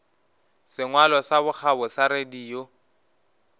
sengwalo sa bokgabo sa radio